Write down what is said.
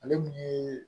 Ale mun ye